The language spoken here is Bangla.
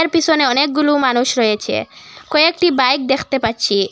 এর পিছনে অনেকগুলো মানুষ রয়েছে কয়েকটি বাইক দেখতে পাচ্ছি।